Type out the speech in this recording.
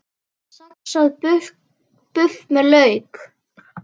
Saxað buff með lauk